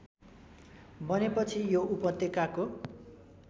बनेपछि यो उपत्यकाको